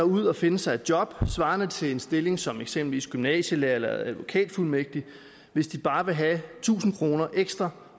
ud at finde sig et job svarende til en stilling som eksempelvis gymnasielærer eller advokatfuldmægtig hvis de bare vil have tusind kroner ekstra